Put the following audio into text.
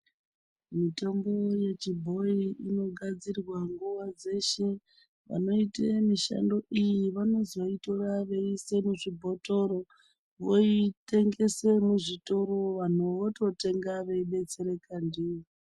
Mutombo yechibhoyi inogadzirwa nguva dzeshe. Vanoite mishando iyi vanozoitora veiise muzvibhotoro, voitengese muzvitoro. Vanhu vototenga veidetsereka ndiyo.